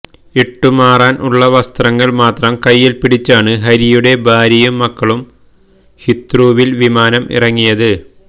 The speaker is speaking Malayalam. ഇട്ടു മാറാന് ഉള്ള വസ്ത്രങ്ങള് മാത്രം കയ്യില് പിടിച്ചാണ് ഹരിയുടെ ഭാര്യയും മക്കളും ഹീത്രൂവില് വിമാനം ഇറങ്ങിയത്